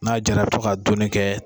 N'a jara i bi to ka dunni kɛ